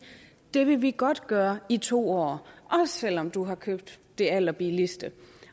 det vil vi godt gøre i to år også selv om du har købt det allerbilligste